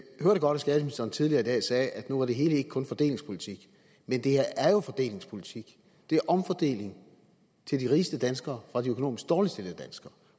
hørte godt at skatteministeren tidligere i dag sagde at nu var det hele ikke kun fordelingspolitik men det her er jo fordelingspolitik det er omfordeling til de rigeste danskere fra de økonomisk dårligt stillede danskere